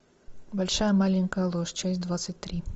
большая маленькая ложь часть двадцать три